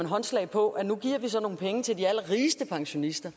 håndslag på at nu giver vi så nogle penge til de allerrigeste pensionister